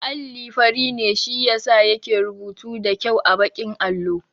Alli fari ne shi yasa yake rubutu da kyau a baƙin allo